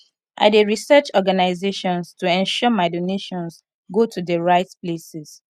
i dey research organizations to ensure my donations go to the right places